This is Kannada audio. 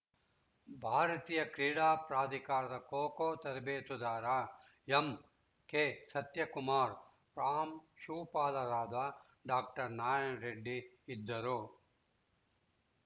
ಭಾರತೀಯ ಕ್ರೀಡಾ ಪ್ರಾಧಿಕಾರದ ಖೋಖೋ ತರಬೇತುದಾರ ಎಂಕೆಸತ್ಯಕುಮಾರ್‌ ಪ್ರಾಂಶುಪಾಲರಾದ ಡಾಕ್ಟರ್ ನಾರಾಯಣರೆಡ್ಡಿ ಇದ್ದರು